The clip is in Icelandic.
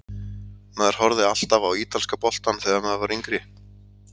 Maður horfði alltaf á ítalska boltann þegar maður var yngri.